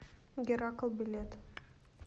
геракл билет